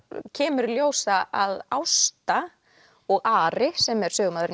kemur í ljós að að Ásta og Ari sem er sögumaðurinn